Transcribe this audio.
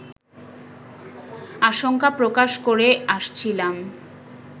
আশঙ্কা প্রকাশ করে আসছিলাম